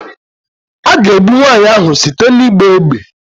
A ga-egbu nwaanyị ahụ site n'ịgba égbè